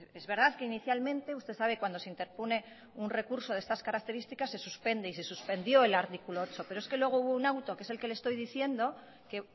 es verdad que inicialmente usted sabe cuando se interpone un recurso de estas características se suspende y se suspendió el artículo ocho pero es que luego hubo un auto que es el que le estoy diciendo que